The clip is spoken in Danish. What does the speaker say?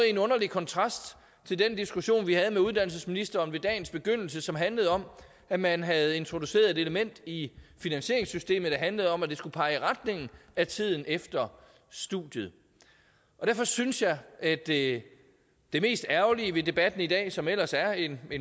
en underlig kontrast til den diskussion vi havde med uddannelsesministeren ved dagens begyndelse som handlede om at man havde introduceret et element i finansieringssystemet der handlede om at det skulle pege i retning af tiden efter studiet derfor synes jeg at det mest ærgerlige ved debatten i dag som ellers er en